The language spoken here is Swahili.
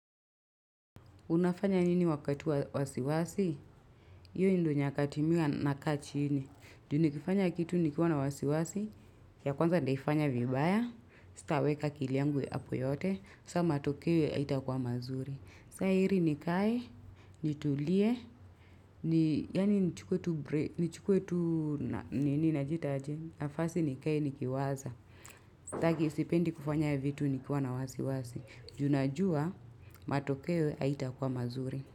Unafanya nini wakatu wasiwasi? Iyo ndo nyakati mihua naka chini. Junikifanya kitu nikiwana wasiwasi, ya kwanza ndaifanya vibaya, sitaweka akili yangu hapo yote, saa matokewo haitakuwa mazuri. Saa heri nikai, nitulie, yani nchukwe tu bre, nchukwe tu, nini na jita aje, nafasi nikai nikiwaza. Takisipendi kufanya vitu nikiwana wasiwasi. Junajua matokewe haita kuwa mazuri.